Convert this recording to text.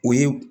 U ye